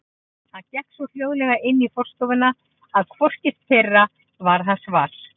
Hann gekk svo hljóðlega inn í forstofuna að hvorugt þeirra varð hans var.